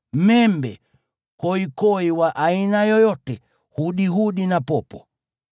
korongo, koikoi wa aina yoyote, hudihudi na popo.